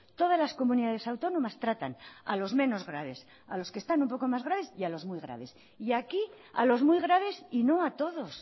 todas las comunidades autónomas tratan a los menos graves a los que están un poco más graves y a los muy graves y aquí a los muy graves y no a todos